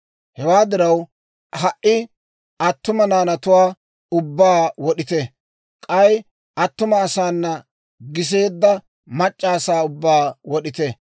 Hewaa diraw, ha"i attuma naanatuwaa ubbaa wod'ite; k'ay attuma asaana giseedda mac'c'a asaa ubbaa wod'ite.